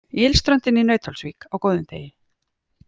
Ylströndin í Nauthólsvík á góðum degi.